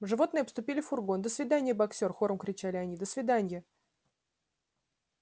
животные обступили фургон до свидания боксёр хором кричали они до свиданья